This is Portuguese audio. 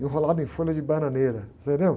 Enrolado em folha de bananeira, entendeu?